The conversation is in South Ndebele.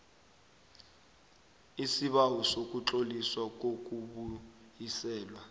isibawo sokutloliswa kokubuyiselwa